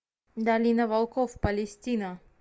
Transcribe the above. долина волков палестина